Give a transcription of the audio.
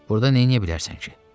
Burda nə eləyə bilərsən ki?